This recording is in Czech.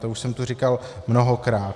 To už jsem tu říkal mnohokrát.